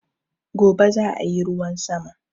Gobe zaa yi ruwan sama